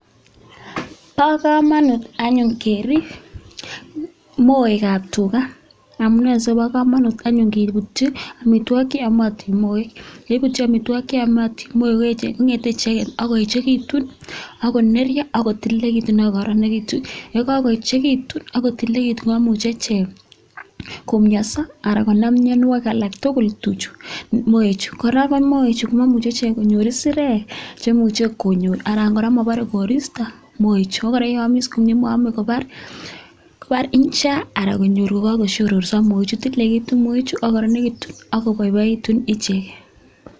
Bo kamanut anyun kerip moekab tuga, amu ne anyun sikobo kamanut kebutyi amitwogik che yomotin moek? ye kakebutyi amitwogik che yomei kongete icheget koekitu ak koneryo ak kotilelikitu ak kokororonitu ye kakoechekitu ak kotilekitu komuchi ichek komienso ara konam mienwogik alak tukul tuchuk moechu. Kora moechu momuchi ichek konyor isirek chemuchi konyor anan kora mabaren koristo moechu abare ye amishe komie maame kobare isha ara konyor kakoshoroso moechu tililekitu moechu ak kororekitu ak koboiboitu ichek.